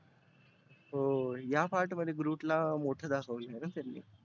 हो या part मध्ये groot ला मोठ दाखवलं ना त्यांनी.